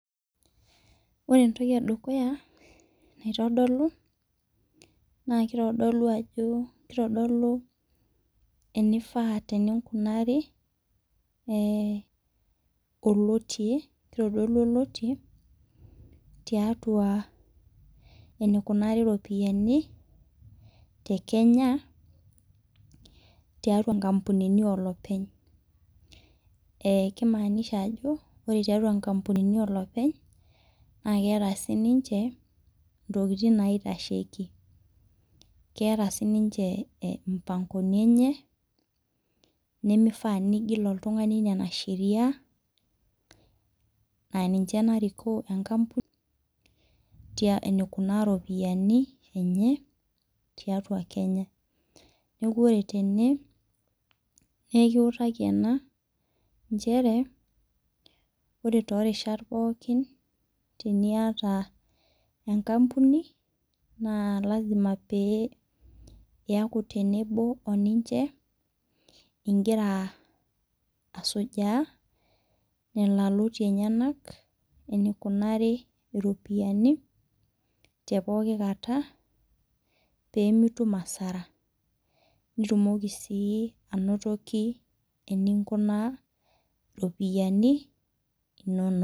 Ore Entoki edukuya naitodolu na kitodolu ajo enifaa peikunari enetii tiatua enikunari ropiyani tekenya tiatua nkampunini oloopeny na kimaanisha ajo ore tiatua nkampunini oloopeny na keeta ntokitin naitasheki eeta sininche mpangonini enye nimifaa pigil oltungani nona sheriani aininche narikoo enkampuni enikunaa ropiyani tiatua kenya neaku ore tene nekiutakibena nchere ore torishat pokki teniata enkampuni na lasima peaku tenebo ninche ingira asujaa enyenak enikunari ropiyani tepokki kata nitumoki si atumoki enikunaa ropiyani inonok.